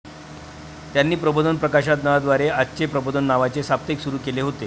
त्यांनी प्रबोधन प्रकाशनाद्वारे 'आजचे प्रबोधन' नावाचे साप्ताहिक सुरू केले होते.